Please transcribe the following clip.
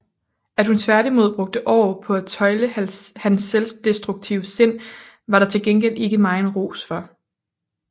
At hun tværtimod brugte år på at tøjle hans selvdestruktive sind var der til gengæld ikke megen ros for